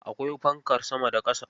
Akwai fankar sama da ƙasa.